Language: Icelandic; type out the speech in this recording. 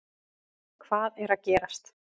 Hvað er að gerast